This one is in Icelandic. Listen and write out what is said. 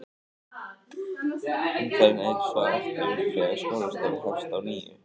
Umferðin eykst svo aftur þegar skólastarf hefst að nýju.